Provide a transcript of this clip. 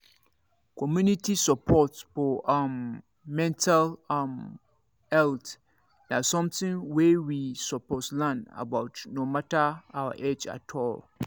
community support for um mental um health na something wey we suppose learn about no matter our age at all